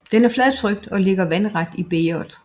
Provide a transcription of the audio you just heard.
Den er fladtrykt og ligger vandret i bægeret